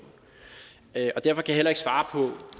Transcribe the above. derfor kan jeg heller ikke svare